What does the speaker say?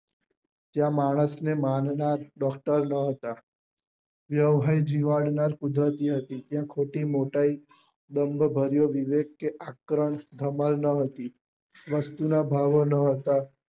ત્યાં માણસ ને ત્યાં ખોટી મોટાઈ બંધ ભર્યો વિવેક કે આકર્ણ ધમાલ ના હતી વસ્તુ નાં ભાવો નાં હતા